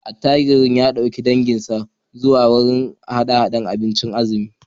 Attajirin ya dauki dukkan danginsa zuwa wurin hada-hadar abinci na azumi